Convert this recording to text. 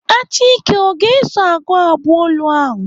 Achike ọ ga-eso agụ abụ olu ahụ?